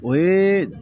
O ye